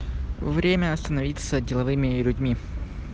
время становиться деловыми людьми